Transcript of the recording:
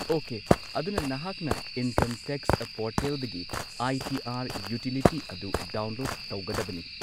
Okay, ꯑꯗꯨꯅ ꯅꯍꯥꯛꯅ income tax ꯄꯣꯔꯇꯦꯜꯗꯒꯤ ꯑꯥꯏ. ꯇꯤ. ꯑꯥꯔ. ꯌꯨꯇꯤꯂꯤꯇꯤ ꯑꯗꯨ ꯗꯥꯎꯟꯂꯣꯗ ꯇꯧꯒꯗꯕꯅꯤ꯫